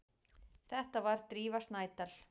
Þetta var Drífa Snædal.